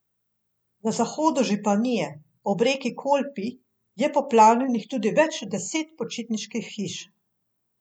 Na zahodu županije, ob reki Kolpi, je poplavljenih tudi več deset počitniških hiš.